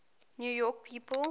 new york people